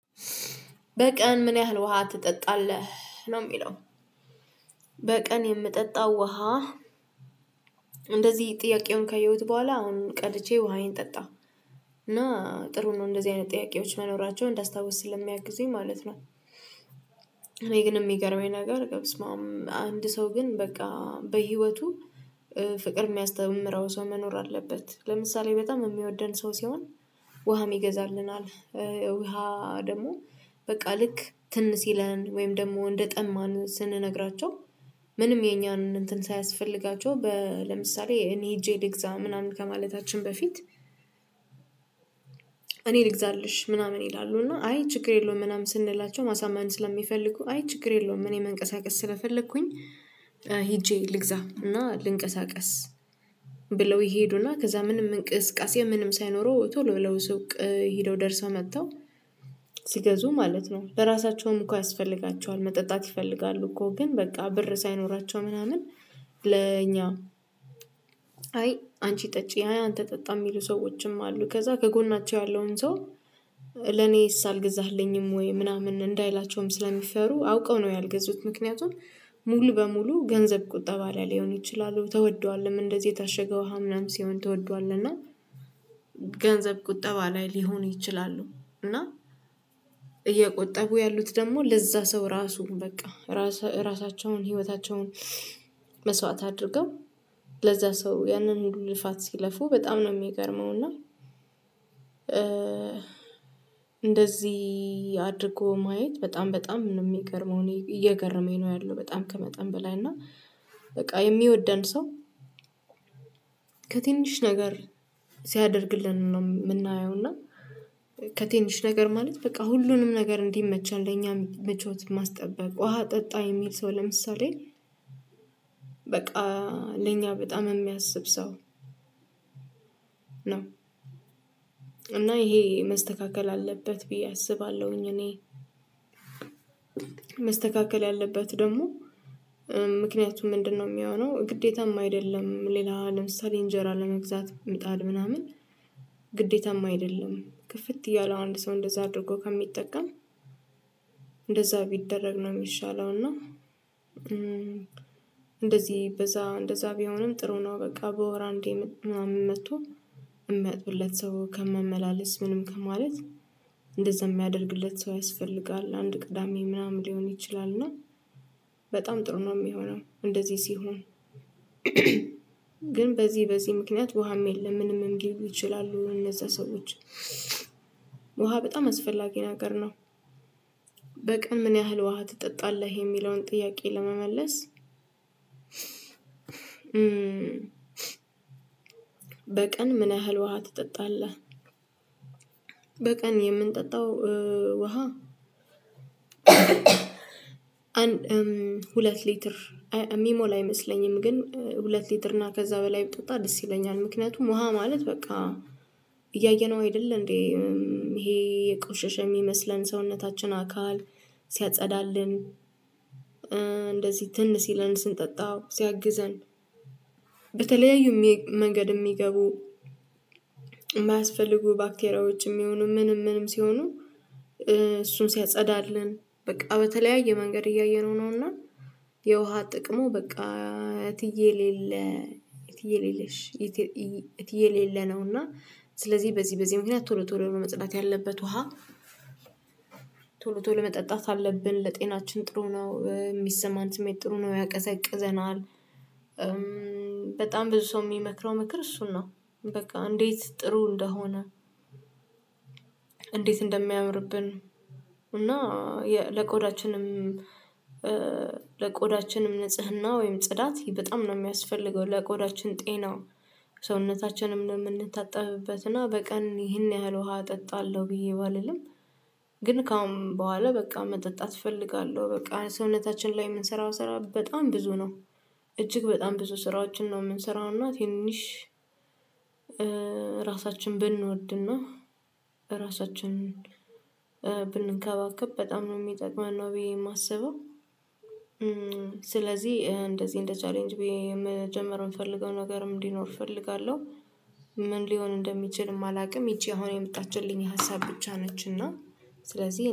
በቀን ምን ያህል ውሃ ትጠጣለህ ነው የሚለው? በቀን የምጠጣው ውሃ። እንደዚህ ጥያቄውን ከየሁት በኋላ አሁን ቀድቼ ውሃዬን ጠጣሁ እና ጥሩ ነው እንደዚህ አይነት ጥያቄዎች መኖራቸውን እንዳስታውስ ስለሚያግዙኝ ማለት ነው። እኔ ግን የሚገርመኝ ነገር በስማም አንድ ሰው ግን በቃ በህይወቱ ፍቅር የሚያስተምረው ሰው መኖር አለበት። ለምሳሌ በጣም የሚወደን ሰው ሲሆን ውሃም ይገዛልናል። ውሃ ደግሞ በቃ ልክ ትን ሲለን ወይም ደግሞ እንደጠማን ስንነግራቸው። ምንም የኛን እንትን ሳያስፈልጋቸው ለምሳሌ እኔ ሄጄ ልግዛ ምናምን ከማለታችን በፊት እኔ ልግዛልሽ ምናምን ይላሉ እና አይ ችግር የለውም ምናምን ስንላቸው ማሳመን ስለሚፈልጉ አይ ችግር የለውም። እኔ መንቀሳቀስ ስለፈለኩኝ ሄጄ ልግዛ እና ልንቀሳቀስ ብለው ይሄዱና ከዛ ምንም እንቅስቃሴ ምንም ሳይኖረው ቶሎ ብለው ሱቅ ሄደው ደርሰው መጥተው ሲገዙ ማለት ነው በራሳቸውም እኮ ያስፈልጋቸዋል መጠጣት ይፈልጋሉ። እኮ ግን በቃ ብር ሳይኖራቸው ምናምን ለኛ አይ አንቺ ጠጪ አይ አንተ ጠጣ የሚሉ ሰዎችም አሉ። ከዛ ከጎናቸው ያለውን ሰው ለኔስ አልገዛህልኝም ወይ ምናምን እንዳይላቸውም ስለሚፈሩ አውቀው ነው ያልገዙት። ምክንያቱም ሙሉ በሙሉ ገንዘብ ቁጠባ ላይ ሊሆን ይችላሉ ተወዷልም እንደዚህ የታሸገ ውሃ ምናምን ሲሆን ተወዷል እና ገንዘብ ቁጠባ ላይ ሊሆኑ ይችላሉ። እና እየቆጠቡ ያሉት ደግሞ ለዛ ሰው ራሱን በቃ ራሳቸውን ህይወታቸውን መስዋዕት አድርገው ለዛ ሰው ያንን ሁሉ ልፋት ሲለፉ በጣም ነው የሚገርመው እና። እንደዚህ አድርጎ ማየት በጣም በጣም የሚገርመው እኔ እየገረመኝ ነው ያለው በጣም ከመጠን በላይ እና በቃ የሚወደን ሰው። ከትንሽ ነገር ሲያደርግልን ነው የምናየው እና ከትንሽ ነገር ማለት በቃ ሁሉንም ነገር እንዲመቸን ለኛ ምቾት ማስጠበቅ ውሃ ጠጣ የሚል ሰው ለምሳሌ በቃ ለኛ በጣም የሚያስብ ሰው ነው። እና ይሄ መስተካከል አለበት ብዬ አስባለሁኝ። እኔ መስተካከል ያለበት ደግሞ ምክንያቱም ምንድነው የሚሆነው ግዴታም አይደለም። ሌላ ለምሳሌ እንጀራ ለመግዛት ምጣድ ምናምን ግዴታማ አይደለም ክፍት እያለው አንድ ሰው እንደዛ አድርጎ ከሚጠቀም እንደዛ ቢደረግ ነው የሚሻለው። እና እንደዚህ በዛ እንደዛ ቢሆንም ጥሩ ነው በቃ በወር አንዴ መጥቶ ሚመጡለት ሰው ከመመላለስ ምንም ከማለት እንደዛ የሚያደርግለት ሰው ያስፈልጋል አንድ ቅዳሜ ምናምን ሊሆን ይችላል እና በጣም ጥሩ ነው የሚሆነው እንደዚህ ሲሆን። ግን በዚህ በዚህ ምክንያት ውሃም የለም ምንም እንዲህ ይችላሉ እነዛ ሰዎች ውሃ በጣም አስፈላጊ ነገር ነው። በቀን ምን ያህል ውሃ ትጠጣለህ? የሚለውን ጥያቄ ለመመለስ በቀን ምን ያህል ውሃ ትጠጣለህ? በቀን የምንጠጣው ውሃ አንድ ሁለት ሊትር የሚሞላ አይመስለኝም ግን ሁለት ሊትር እና ከዛ በላይ ብጠጣ ደስ ይለኛል። ምክንያቱም ውሃ ማለት በቃ እያየነው አይደል እንዴ ይሄ የቆሸሸ የሚመስለን ሰውነታችን አካል ሲያጸዳልን እንደዚህ ትን ሲለን ስንጠጣው ሲያግዘን በተለያዩ መንገድ የሚገቡ የማያስፈልጉ ባክቴሪያዎችም ይሁኑ ምንም ምንም ሲሆኑ እሱን ሲያጸዳለን በቃ በተለያየ መንገድ እያየነው ነውና። የውሃ ጥቅሙ በቃ እትዬ የሌለ እትዬ የሌለሽ እትዬ የሌለ ነው። እና ስለዚህ በዚህ በዚህ ምክንያት ቶሎ ቶሎ ቶሎ መጠጣት ያለበት ውሃ ቶሎ ቶሎ መጠጣት አለብን ለጤናችን ጥሩ ነው የሚሰማን ስሜት ጥሩ ነው ያቀዘቅዘናል። በጣም ብዙ ሰው የሚመክረው ምክር እሱን ነው በቃ እንዴት ጥሩ እንደሆነ? እንዴት እንደሚያምርብን እና ለቆዳችንም ለቆዳችንም ንጽህና ወይም ጽዳት በጣም ነው የሚያስፈልገው። ለቆዳችን ጤናው ሰውነታችንም ነው የምንታጠብበት እና በቀን ይህን ያህል ውሃ እጠጣለሁ ብዬ ባልልም ግን ከአሁን በኋላ በቃ መጠጣት እፈልጋለሁ በቃ ሰውነታችን ላይ የምንሰራው ስራ በጣም ብዙ ነው። እጅግ በጣም ብዙ ስራዎችን ነው የምንሰራው እና ትንሽ ራሳችንን ብንወድና ራሳችንን ብንከባከብ በጣም ነው የሚጠቅመን ነው ብዬ የማስበው። ስለዚህ እንደዚህ እንደ ቻሌንጅ መጀመር የምፈልገው ነገርም እንዲኖር እፈልጋለሁ ምን ሊሆን እንደሚችል አላውቅም። ይቺ አሁን የመጣችልኝ ሀሳብ ብቻ ነች። እና ስለዚህ